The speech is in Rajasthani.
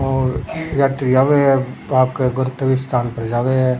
और यात्री आव है आपके गर्तव स्थान पर जावे है।